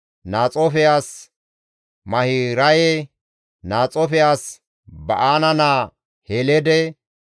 Naxoofe as Mahiraye, Naxoofe as Ba7aana naa Heleede,